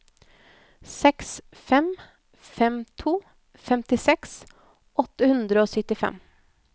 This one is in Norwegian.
seks fem fem to femtiseks åtte hundre og syttifem